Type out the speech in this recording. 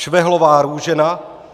Švehlová Růžena